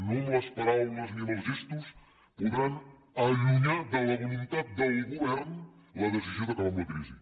no amb les paraules ni amb els gestos podran allunyar de la voluntat del govern la decisió d’acabar amb la crisi